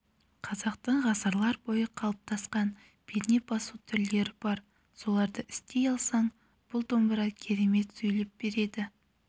қазақтың ғасырлар бойы қалыптасқан перне басу түрлері бар соларды істей алсаң бұл домбыра керемет сөйлеп береді